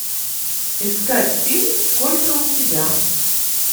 искать фильм сколько у тебя